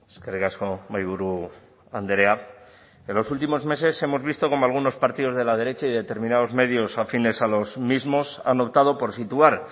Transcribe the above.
eskerrik asko mahaiburu andrea en los últimos meses hemos visto cómo algunos partidos de la derecha y determinados medios afines a los mismos han optado por situar